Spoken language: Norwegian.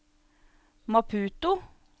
Maputo